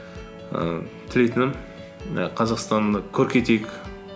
ііі тілейтінім і қазақстанды көркейтейік